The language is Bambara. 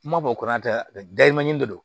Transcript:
Kuma bɔ kɔnɔ tɛ dɛ dayi manje de do